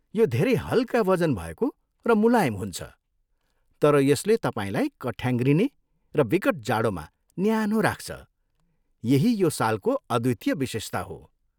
यो धेरै हल्का वजन भएको र मुलायम हुन्छ, तर यसले तपाईँलाई कठ्याङ्ग्रिने र विकट जाडोमा न्यानो राख्छ, यही यो सालको अद्वितीय विशेषता हो।